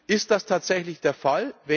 Ist das tatsächlich der Fall?